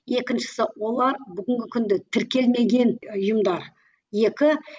екіншісі олар бүгінгі күнді тіркелмеген ұйымдар екі